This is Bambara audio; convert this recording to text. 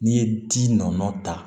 N'i ye ji nɔɔni ta